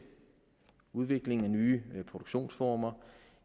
udvikling af nye produktionsformer